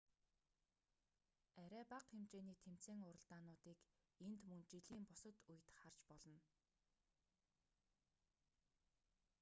арай бага хэмжээний тэмцээн уралдаануудыг энд мөн жилийн бусад үед харж болно